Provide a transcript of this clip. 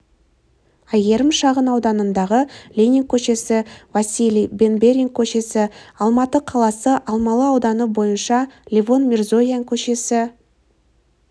әйгерім шағын ауданындағы ленин көшесі василий бенберин көшесі алматы қаласы алмалы ауданы бойынша левон мирзоян көшесі